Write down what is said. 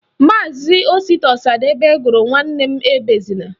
Maazi Osita Ọsadebe gụrụ Nwanne m ebezina